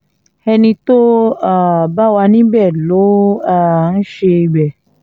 ẹni tó um bá wà níbẹ̀ ló um ń ṣe ibẹ̀